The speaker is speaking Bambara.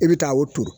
I bɛ taa o turu